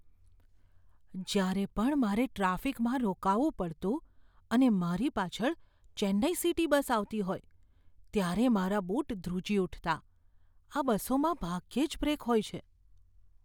જ્યારે પણ મારે ટ્રાફિકમાં રોકાવું પડતું અને મારી પાછળ ચેન્નાઈ સિટી બસ આવતી હોય ત્યારે મારા બુટ ધ્રુજી ઉઠતા, આ બસોમાં ભાગ્યે જ બ્રેક હોય છે.